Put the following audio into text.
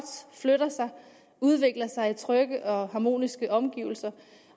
flytter sig og udvikler sig i trygge og harmoniske omgivelser